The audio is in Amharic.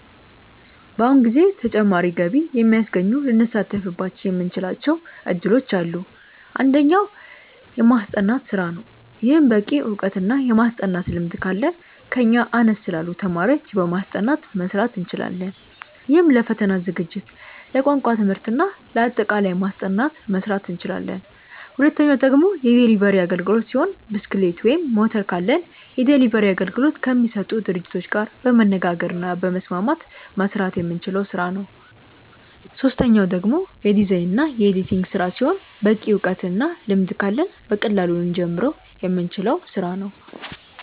በአሁኑ ጊዜ ተጨማሪ ገቢ የሚያስገኙ ልንሳተፍባቸው የምንችላቸው እድሎች አሉ። አንደኛው። የማስጠናት ስራ ነው። ይህም በቂ እውቀት እና የማስጠናት ልምድ ካለን ከኛ አነስ ላሉ ተማሪዎች በማስጠናት መስራት እንችላለን። ይህም ለፈተና ዝግጅት፣ ለቋንቋ ትምህርት እና ለአጠቃላይ ማስጠናት መስራት እንችላለን። ሁለተኛው ደግሞ የዴሊቨሪ አግልግሎት ሲሆን ብስክሌት ወይም ሞተር ካለን የዴሊቨሪ አገልግሎት ከሚሰጡ ድርጅቶች ጋር በመነጋገር እና በመስማማት መስራት የምንችለው ስራ ነው። ሶስተኛው ደግሞ የዲዛይን እና የኤዲቲንግ ስራ ሲሆን በቂ እውቀት እና ልምድ ካለን በቀላሉ ልንጀምረው የምንችለው ስራ ነው።